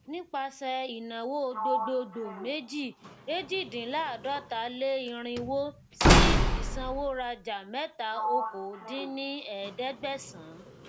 nipasẹ ìnáwó gbogboogbò méjì ejidinlaadọtaleirinwó sí isanworaja mẹta okòó dín ní ẹẹdẹgbẹsán